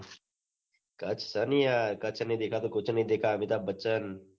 કચ્છ સ ને યાર કચ્છ નહી દેખા તો કુચ નહી દેખા અમીતાબ બચ્ચન